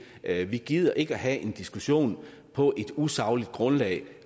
er vi gider ikke have en diskussion på et usagligt grundlag